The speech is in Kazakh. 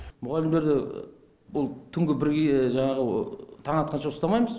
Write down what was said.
мұғалімдерді ол түнгі бірге жаңағы таң атқанша ұстамаймыз